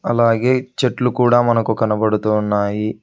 అలాగే చెట్లు కూడా మనకు కనబడుతూ ఉన్నాయి.